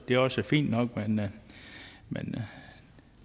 er også fint nok men det